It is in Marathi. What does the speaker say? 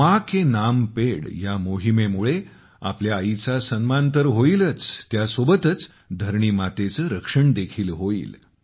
माँ के नाम पेड़ या मोहिमेमुळे आपल्या आईचा सन्मान तर होईलच त्यासोबतच धरणी मातेचे रक्षण देखील होईल